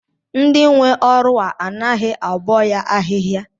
Ndị nwe ọrụ a anaghị abọ ya ahịhịa?